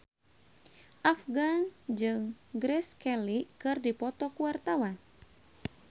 Afgan jeung Grace Kelly keur dipoto ku wartawan